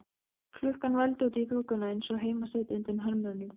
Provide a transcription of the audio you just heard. Klukkan vældi út í þokuna eins og heimasæta undan hermönnum.